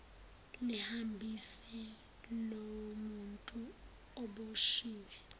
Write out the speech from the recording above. lihambise lowomuntu oboshwiwe